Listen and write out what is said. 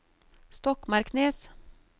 Stokmarknes